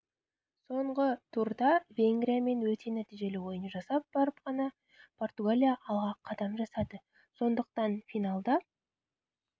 соңғы турда венгриямен өте нәтижелі ойын жасап барып қана португалия алға қадам жасады сондықтан финалда